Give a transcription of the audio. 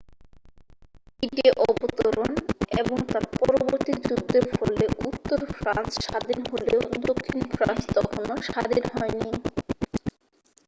d-day অবতরণ এবং তার পরবর্তী যুদ্ধের ফলে উত্তর ফ্রান্স স্বাধীন হলেও দক্ষিণ ফ্রান্স তখনও স্বাধীন হয়নি